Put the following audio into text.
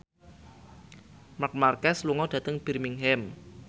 Marc Marquez lunga dhateng Birmingham